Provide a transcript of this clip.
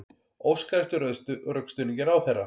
Óskar eftir rökstuðningi ráðherra